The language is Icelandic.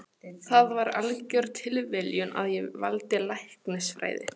Það var algjör tilviljun að ég valdi læknisfræði.